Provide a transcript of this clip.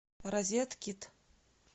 розеткит